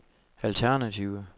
alternative